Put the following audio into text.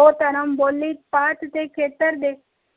ਉਹ ਧਰਮ ਬੋਲੀ ਪਾਤ ਤੇ ਖੇਤਰ ਦੇ